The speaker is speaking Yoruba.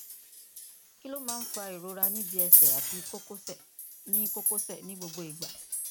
kí ló máa ń fa ìrora níbi ẹsẹ àti kókósẹ ní kókósẹ ní gbogbo ìgbà